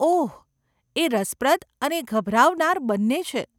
ઓહ, એ રસપ્રદ અને ગભરાવનાર બંને છે.